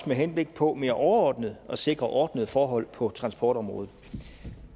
med henblik på mere overordnet at sikre ordnede forhold på transportområdet